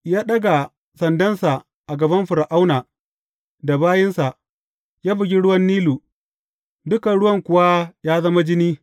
Ya ɗaga sandansa a gaban Fir’auna da bayinsa, ya bugi ruwan Nilu, dukan ruwan kuwa ya zama jini.